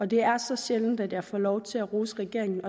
det er så sjældent at jeg får lov til at rose regeringen